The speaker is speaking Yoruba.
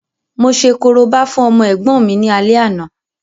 Mo ṣe korobá fún ọmọ ẹ̀gbọ́n mi ní alẹ́ àná